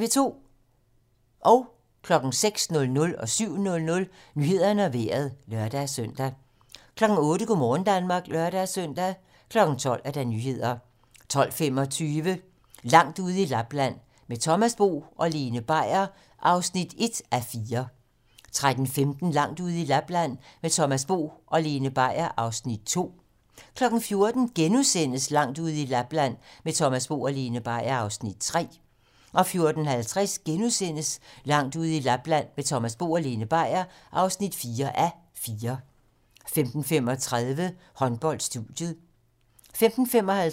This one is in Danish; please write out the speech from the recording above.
06:00: Nyhederne og Vejret (lør-søn) 07:00: Nyhederne og Vejret (lør-søn) 08:00: Go' morgen Danmark (lør-søn) 12:00: Nyhederne 12:25: Langt ude i Lapland - Med Thomas Bo og Lene Beier (1:4) 13:15: Langt ude i Lapland - Med Thomas Bo og Lene Beier (2:4) 14:00: Langt ude i Lapland - Med Thomas Bo og Lene Beier (3:4)* 14:50: Langt ude i Lapland - Med Thomas Bo og Lene Beier (4:4)* 15:35: Håndbold: Studiet 15:55: Håndbold: Sverige-Danmark (m)